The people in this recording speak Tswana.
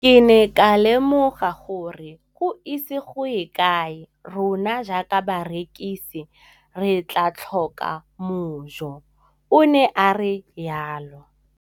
Ke ne ka lemoga gore go ise go ye kae rona jaaka barekise re tla tlhoka mojo, o ne a re jalo.